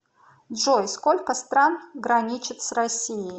джой сколько стран граничит с россией